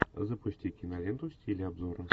запусти киноленту в стиле обзора